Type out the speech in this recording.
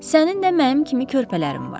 Sənin də mənim kimi körpələrim var.